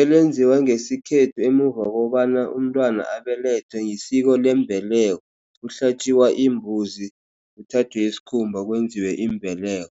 elenziwa ngesikhethu emuva kokobana umntwana abelethwe, yisiko yembeleko. Kuhlatje imbuzi, kuthathwe isikhumba kwenziwe imbeleko.